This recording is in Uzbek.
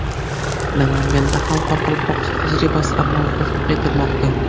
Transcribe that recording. Namanganda ham Qoraqalpog‘iston tajribasi amalda tatbiq etilmoqda.